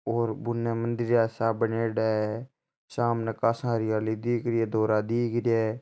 और बुन मंदिर सा बनेड़ा है सामने काशा हरियाली दिख रही है धोरा दिख रहिया है।